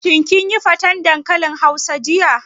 Shin kin yi faten dankalin hausa jiya?